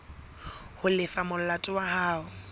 ho lefa molato wa hao